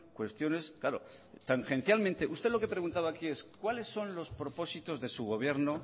cuestiones claro tangencialmente usted lo que preguntaba aquí es cuáles son los propósitos de su gobierno